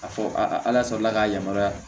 A fɔ ala sɔrɔla k'a yamaruya